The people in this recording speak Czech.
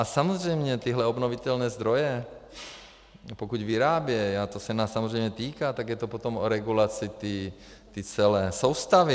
A samozřejmě tyhle obnovitelné zdroje, pokud vyrábějí, a to se nás samozřejmě týká, tak je to potom o regulaci té celé soustavy.